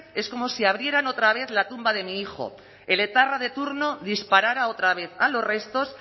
es como si abrieran otra vez la tumba de mi hijo el etarra de turno disparara otra vez a los restos